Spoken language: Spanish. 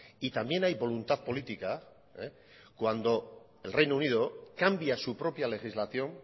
y también hay voluntad política cuando el reino unido cambia su propia legislación